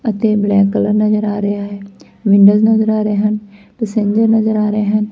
ਅਤੇ black colour ਨਜ਼ਰ ਆ ਰਿਹਾ ਹੈ ਵਿੰਡੋਜ ਨਜ਼ਰ ਆ ਰਹੇ ਹਨ ਪਸਿੰਜਰ ਨਜ਼ਰ ਆ ਰਹੇ ਹਨ।